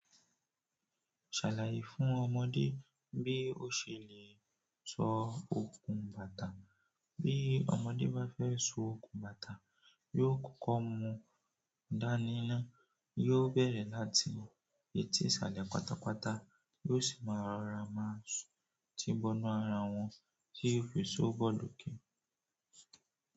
Ṣàlàyé fún ọmọdé bí ó ṣe lè sọ okun bàtà. Bí ọmọdé bá fẹ́ so okun bàtà, yóò kọkọ mú dání náà, yóò bẹ̀rẹ̀ láti etí ìsàlẹ̀ pátápátá, yóò sì máa rọra máa ti bọ́nu ara wọn tí ó fi so bọ́ loké.